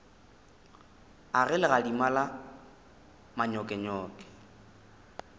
a ge legadima la manyokenyoke